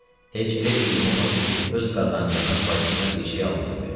Heç elə bir gün olmazdı ki, öz qazancından bacısına bir şey almayaydı.